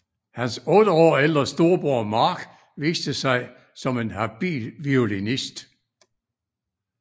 Hans otte år ældre storbror Mark viste sig som en habil violinist